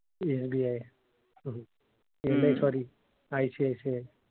SBISBI sorry ICICI.